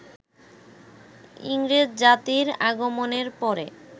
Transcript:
ইংরেজ জাতির আগমনের পরে